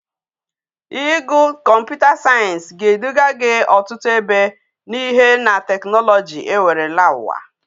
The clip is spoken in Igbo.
Igu computer science ga edu ga gi otutu ebe na Ihe na technology e were la uwa